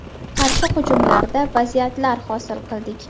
Qarshi hujumlarda vaziyatlar hosil qildik.